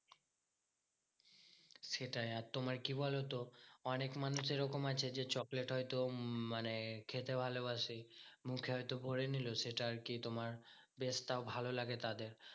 সেটাই আর তোমার কি বলতো? অনেক মানুষ এরকম আছে যে চকলেট হয়তো উম মানে খেতে ভালোবাসে। মুখে হয়তো ভোরে নিলো সেটা আরকি তোমার test টাও ভালো লাগে তাদের।